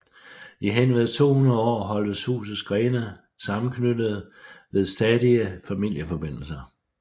I henved 200 år holdtes husets grene sammenknyttede ved stadige familieforbindelser